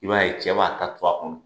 I b'a ye, cɛ b'a ta to a kɔnɔ.